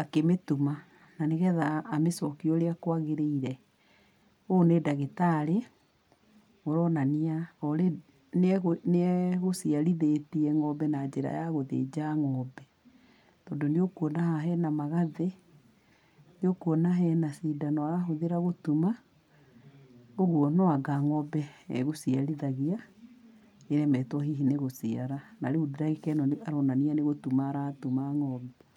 akĩmĩtuma, na nĩgetha amĩcokie ũrĩa kwagĩrĩire. Ũyũ nĩ ndagĩtarĩ ũronania nĩegũ nĩegũciarithĩtie ngombe na njĩra ya gũthĩnja ngombe, tondũ nĩũkuona haha hena magathĩ, nĩũkuona hena cindano arahũthĩra gũtuma, ũguo no anga ngombe egũciarithagia, iremetwo hihi nĩgũciara. Na rĩũ ndagĩka ĩno aronania nĩgũtuma aratuma ngombe.